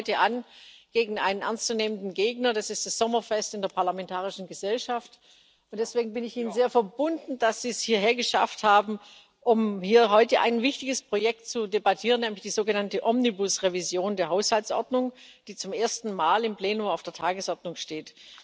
Wir treten heute gegen einen ernst zu nehmenden Gegner an das ist das Sommerfest in der Parlamentarischen Gesellschaft, und deswegen bin ich Ihnen sehr verbunden, dass Sie es hierher geschafft haben, um hier heute ein wichtiges Projekt zu debattieren, nämlich die sogenannte Omnibus Revision der Haushaltsordnung, die zum ersten Mal im Plenum auf der Tagesordnung steht.